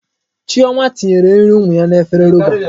Chioma tinyere nri ụmụ ya n'efere roba.